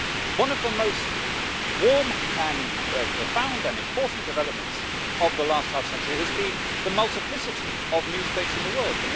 One of the most warm and profound and important developments of the last half century has been the multiplicity of new states in the world.